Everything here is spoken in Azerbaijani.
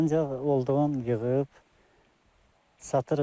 Ancaq olduğun yığıb satırıq.